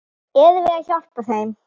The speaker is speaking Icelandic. Erum við að hjálpa þeim?